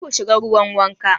Karka shiga ruwa wanka.